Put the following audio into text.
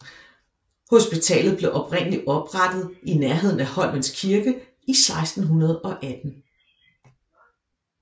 Hospitalet blev oprindeligt oprettet i nærheden af Holmens Kirke i 1618